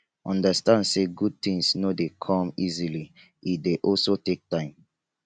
understand say good things no de come easily e de also take time